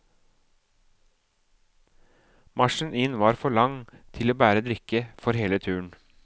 Marsjen inn var for lang til å bære drikke for hele turen.